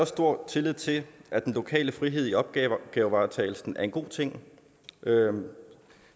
stor tillid til at den lokale frihed i opgavevaretagelsen er en god ting